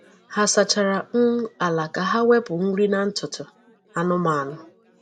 Ha sachara um ala ka ha wepụ nri na ntutu anụmanụ.